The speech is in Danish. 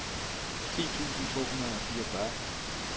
ti tusind to hundrede og fireogfyrre